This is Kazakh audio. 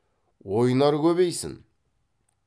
ойнар көбейсін